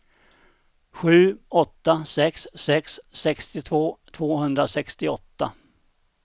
sju åtta sex sex sextiotvå tvåhundrasextioåtta